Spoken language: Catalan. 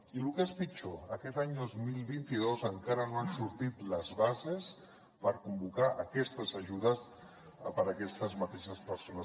i el que és pitjor aquest any dos mil vint dos encara no han sortit les bases per convocar aquestes ajudes per a aquestes mateixes persones